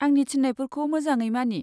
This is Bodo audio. आंनि थिन्नायफोरखौ मोजाङै मानि।